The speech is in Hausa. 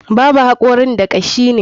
Babu hakorin da kashi ne.